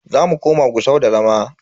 Zamu koma Gusau da zama.